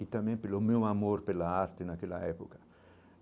e também pelo meu amor pela arte naquela época.